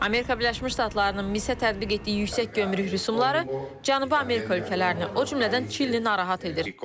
Amerika Birləşmiş Ştatlarının misə tətbiq etdiyi yüksək gömrük rüsumları Cənubi Amerika ölkələrini, o cümlədən Çilini narahat edir.